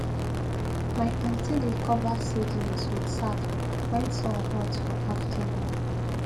my aunty dey cover seedlings with sack when sun hot for afternoon